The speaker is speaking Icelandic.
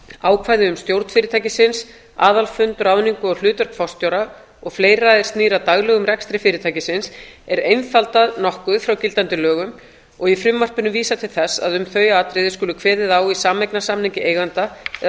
ákvæði um stjórn fyrirtækisins aðalfund ráðningu og hlutverk forstjóra og fleira er snýr að daglegum rekstri fyrirtækisins er einfaldað nokkuð frá gildandi lögum og í frumvarpinu vísað til þess að um þau atriði skuli kveðið á um í sameignarsamningi eigenda eða